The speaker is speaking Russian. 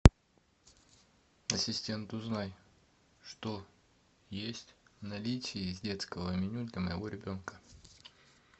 ассистент узнай что есть в наличии из детского меню для моего ребенка